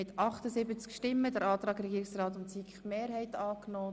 Sie haben den Antrag von Regierungsrat und SiK angenommen.